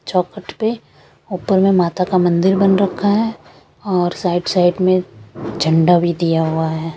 चौखट पे ऊपर में माता का मंदिर बन रखा है और साइड साइड में झंडा भी दिया हुआ है ।